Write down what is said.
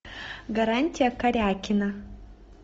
гарантия карякина